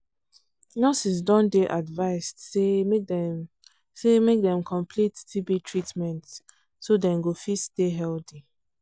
nurses don dey advised say make dem say make dem complete tb treatment so dem go fit stay healthy.